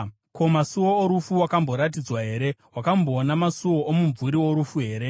Ko, masuo orufu wakamboaratidzwa here? Wakamboona masuo omumvuri worufu here?